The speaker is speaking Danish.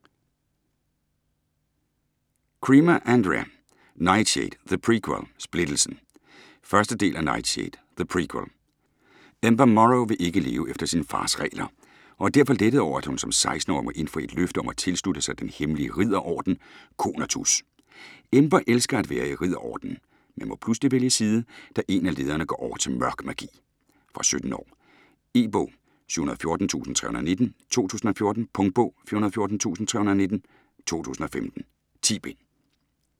Cremer, Andrea: Nightshade, the prequel - splittelsen 1. del af Nightshade, the prequel. Ember Morrow vil ikke leve efter sin fars regler, og er derfor lettet over, at hun som 16-årig må indfri et løfte om at tilslutte sig den hemmelige ridderorden, Conatus. Ember elsker at være i ridderordenen, men må pludselig vælge side, da en af lederne går over til mørk magi. Fra 17 år. E-bog 714319 2014. Punktbog 414319 2015. 10 bind.